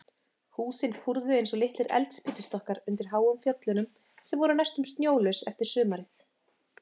Húsin kúrðu eins og litlir eldspýtustokkar undir háum fjöllunum, sem voru næstum snjólaus eftir sumarið.